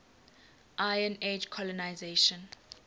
iron age colonisation